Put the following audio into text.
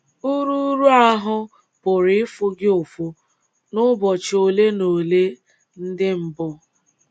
Uru Uru ahụ́ pụrụ ịfụ gị ụfụ n’ụbọchị ole na ole ndị mbụ.